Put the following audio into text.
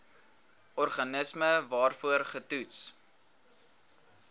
organisme waarvoor getoets